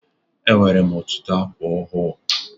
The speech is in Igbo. Enwere m ọtụtụ ákwà ọhụụ.